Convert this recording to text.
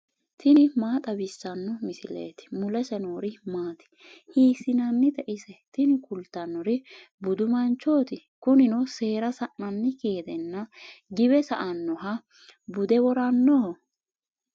tini maa xawissanno misileeti ? mulese noori maati ? hiissinannite ise ? tini kultannori budu manchooti, kunino seera sa'nannikki gedenna giwe sa"annoha bude worannoho.